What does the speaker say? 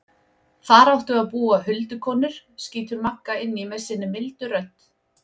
Þar áttu að búa huldukonur, skýtur Magga inn í með sinni mildu rödd.